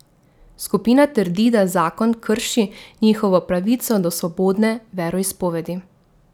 Skupina trdi, da zakon krši njihovo pravico do svobodne veroizpovedi.